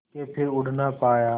के फिर उड़ ना पाया